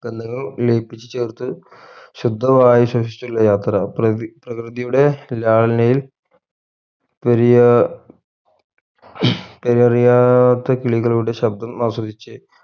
ബന്ധങ്ങൾ ലയിപ്പിച്ചു ചേർത്ത് ശുദ്ധവായു ശ്വസിച്ചുള്ള യാത്ര പ്രക് പ്രകൃതിയുടെ ലാളനയിൽ പെരിയ പേരറിയാത്ത കിളികളുടെ ശബ്‌ദം ആസ്വദിച്